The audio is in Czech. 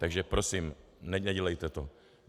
Takže prosím, nedělejte to.